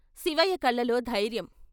" శివయ్య కళ్ళలో ధైర్యం.